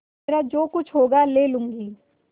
मेरा जो कुछ होगा ले लूँगी